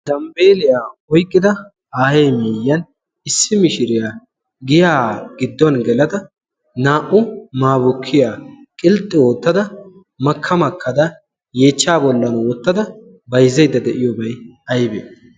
zambbeeliyaa oyqqida aayee miiyyan issi mishiriyaa giyaa gidduwn gelada naa''u maabukkiya qilxxi oottada makka makkada yeechcha bollan woottada bayzzeydda de'iyoobay aybee